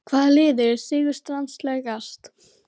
Hvaða lið er sigurstranglegast?